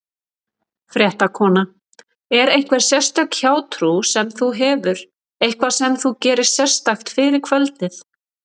Fréttakona: Er einhver sérstök hjátrú sem þú hefur, eitthvað sem þú gerir sérstakt fyrir kvöldið?